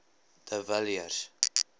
de villiers